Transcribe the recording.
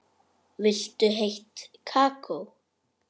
Viltu heitt kakó?